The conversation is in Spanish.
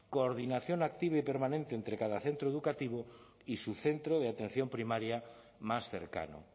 coordinación activa y permanente entre cada centro educativo y su centro de atención primaria más cercano